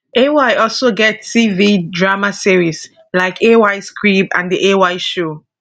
ay also get tv drama series like ays crib and the ay show